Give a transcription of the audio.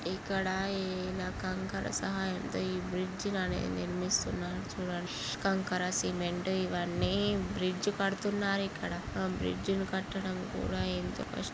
ఇక్కడ ఈ కంకర సహాయంతో ఈ బ్రిడ్జి అనేది నిర్మిహిస్తున్నారు చూడండి .కంకర సిమెంటు ఇవిఅని బ్రిడ్జ్ కడుతున్నారు ఇక్కడ. బ్రిడ్జ్ కట్టడం కూడ ఇంత క-- .